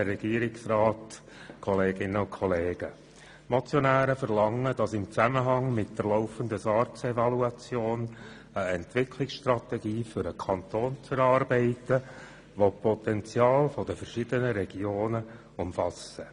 Die Motionäre verlangen, dass laufenden SARZEvaluation eine Entwicklungsstrategie für den Kanton erarbeitet wird, welche die Potenziale der verschiedenen Regionen umfasst.